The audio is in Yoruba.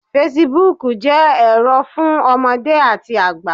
Fesibuúkù jẹ́ ẹ̀rọ fún ọmọdé àti àgbà